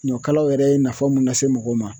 Ɲɔkalaw yɛrɛ ye nafa mun lase mɔgɔw ma.